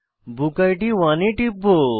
বুকিড 1 এ টিপব